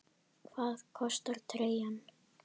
Hvað kostar treyjan?